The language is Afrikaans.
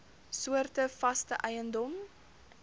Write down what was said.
soorte vaste eiendom